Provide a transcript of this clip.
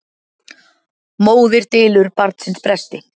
Móðir dylur barnsins bresti.